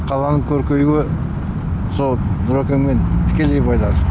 қаланың көркеюі сол нұрекеңмен тікелей байланысты